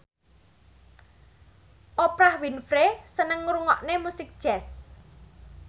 Oprah Winfrey seneng ngrungokne musik jazz